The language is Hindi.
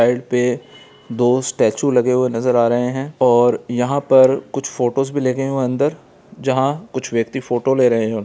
साइड पे दो स्टेच्यू लगे हुए नजर आ रहे हैं और यहां पर कुछ फोटोज भी लगे हुए हैं अंदर जहां कुछ व्यक्ति फोटो ले रहे हैं ।